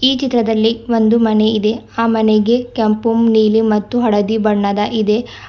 ಈ ಚಿತ್ರದಲ್ಲಿ ಒಂದು ಮನೆಯಿದೆ ಆ ಮನೆಗೆ ಕೆಂಪು ನೀಲಿ ಮತ್ತು ಹಳದಿ ಬಣ್ಣದ ಇದೆ.